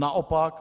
Naopak -